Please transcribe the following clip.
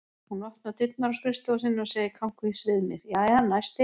Hún opnar dyrnar á skrifstofu sinni og segir kankvís við mig: Jæja, næsti